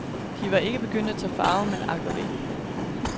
De var ikke begyndt at tage farve, men ak og ve.